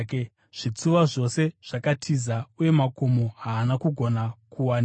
Zvitsuwa zvose zvakatiza uye makomo haana kugona kuwanikwa.